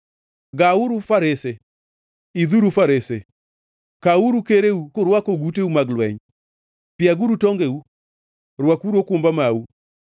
Gauru farese, idhuru farese! Kawuru kereu kurwako oguteu mag lweny! Piaguru tongeu, rwakuru okumba mau!